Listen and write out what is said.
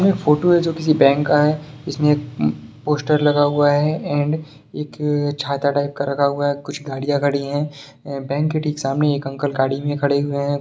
ये फोटो है जो किसी बैंक का है इस में एक पोस्टर लगा हुआ है एंड एक छाता टाइप का रखा हुआ है कुछ गाड़िया खड़ी हैं बैंक के ठीक सामने एक अंकल गाढ़ी में खड़े हुआ हैं ।